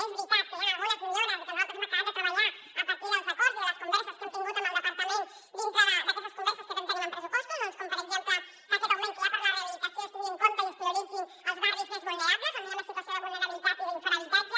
és veritat que hi han algunes millores i que nosaltres hem acabat de treballar a partir dels acords i de les converses que hem tingut amb el departament dintre d’aquestes converses que tenim en pressupostos com per exemple que en aquest augment que hi ha per a la rehabilitació es tinguin en compte i es prioritzin els barris més vulnerables on hi ha més situació de vulnerabilitat i d’infrahabitatge